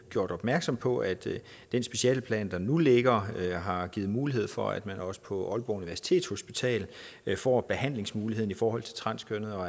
gjort opmærksom på at den specialeplan der nu ligger har givet mulighed for at man også på aalborg universitetshospital får behandlingsmuligheden i forhold til transkønnede og